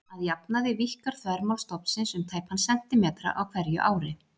Að jafnaði víkkar þvermál stofnsins um tæpan sentímetra á hverju ári.